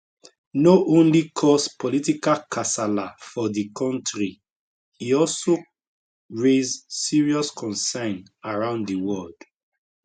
no only cause political kasala for di kontri e also raise serious concern around di world